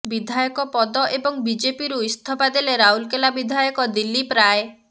ବିଧାୟକ ପଦ ଏବଂ ବିଜେପିରୁ ଇସ୍ତଫା ଦେଲେ ରାଉରକେଲା ବିଧାୟକ ଦିଲ୍ଲୀପ ରାୟ